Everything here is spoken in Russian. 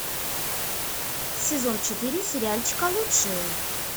сезон четыре сериальчика лучшие